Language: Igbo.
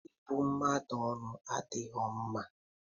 Ịbụ mmadụ ọnụ adighọ mma